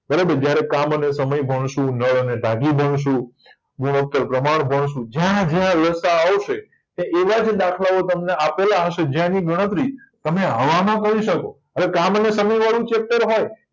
બરાબર જયારે કામ અને સમય ભણશું નળ અને ટાંકી ભણશું ગુણોતર અને પ્રમાણ ભણશું જ્યાં જ્યાં લસાઅ આવશે ત્યાં એવાજ દાખલાઓ તમને આપેલા હશે જ્યાં એની ગણતરી તમે હવામાં કરી શકો અને કામ અને સમય વારુ ચેપ્ટર હોય